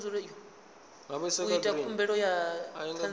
u ita khumbelo ya ṱhanziela